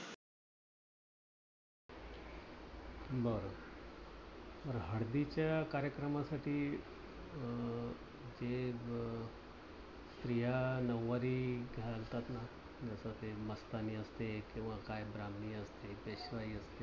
बर. तर हळदीच्या कार्यक्रमासाठी अं ते स्त्रिया नउवारी घालतात ना, जस ते मस्तानी असते किंवा काय ब्राह्मिणी असते, पेशवाई असते.